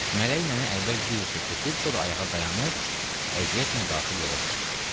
Mələk nənə əvvəl diz üstə çöküb, sonra ayağa dayanıb, əziyyətlə qalxıb yola düşdü.